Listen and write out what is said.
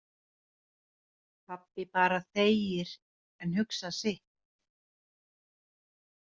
Pabbi bara þegir en hugsar sitt.